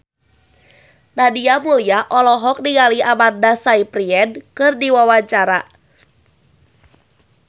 Nadia Mulya olohok ningali Amanda Sayfried keur diwawancara